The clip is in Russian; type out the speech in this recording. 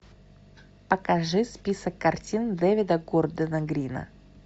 покажи список картин дэвида гордона грина